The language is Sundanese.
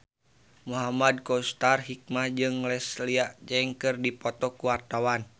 Muhamad Kautsar Hikmat jeung Leslie Cheung keur dipoto ku wartawan